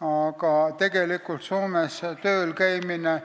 Aga tegelikult on Soomes tööl käimine